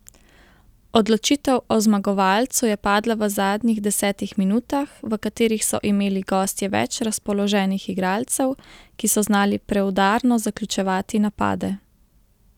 Odločitev o zmagovalcu je padla v zadnjih desetih minutah, v katerih so imeli gostje več razpoloženih igralcev, ki so znali preudarno zaključevati napade.